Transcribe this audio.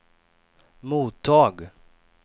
mottag